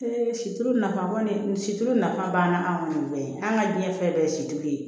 situlu nafa kɔni situlu nafa banna anw kɔni bɛɛ an ka diɲɛ fɛn bɛɛ ye situlu ye